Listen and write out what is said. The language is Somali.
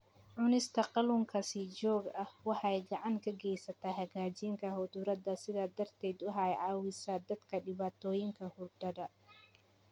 Cunista kalluunka si joogto ah waxay gacan ka geysataa hagaajinta hurdada, sidaas darteed waxay caawisaa dadka dhibaatooyinka hurdada.